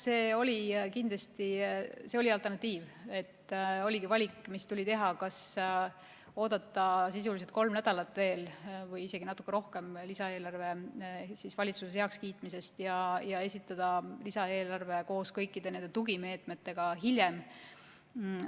See oli kindlasti alternatiiv, valik, mis tuli teha: kas oodata veel sisuliselt kolm nädalat või isegi natuke rohkem lisaeelarve valitsuses heakskiitmisest ja esitada lisaeelarve koos kõikide nende tugimeetmetega hiljem?